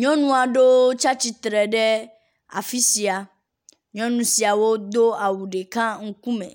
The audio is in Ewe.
Nyɔnua ɖewo tsi ateitre ɖe afi sia. Nyɔnu siawo do awu ɖeka ŋkume.